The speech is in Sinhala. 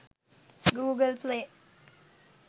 google play